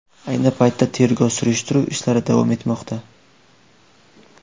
Ayni paytda tergov-surishtiruv ishlari davom etmoqda.